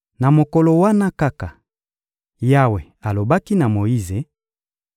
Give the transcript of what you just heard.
Na mokolo wana kaka, Yawe alobaki na Moyize: